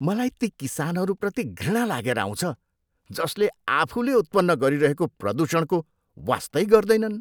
मलाई ती किसानहरूप्रति घृणा लागेर आउँछ जसले आफूले उत्पन्न गरिरहेको प्रदूषणको वास्तै गर्दैनन्।